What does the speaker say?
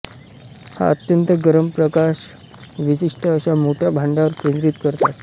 हा अत्यंत गरम प्रकाश विशिष्ट अशा मोठ्या भांड्यांवर केंद्रित करतात